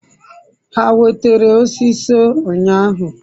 ha wetara osiso unyahu?